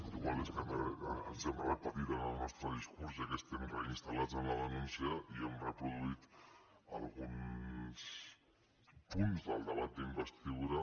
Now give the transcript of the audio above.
igual és que ens hem repetit en el nostre discurs ja que estem reinstal·lats en la denúncia i hem reproduït alguns punts del debat d’investidura